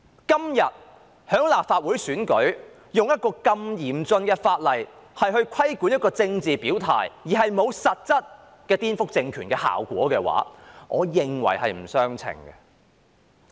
今天立法會選舉用一項如此嚴峻的法例規管沒有實質顛覆政權效果的政治表態，我認為是不相稱的。